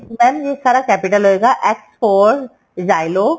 mam ਇਹ capital ਹੋਏਗਾ x for XYLO